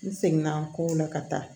N segin na n ko ne ka taa